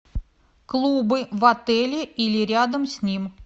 клубы в отеле или рядом с ним